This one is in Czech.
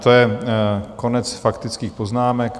To je konec faktických poznámek.